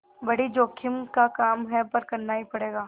बड़ी जोखिम का काम है पर करना ही पड़ेगा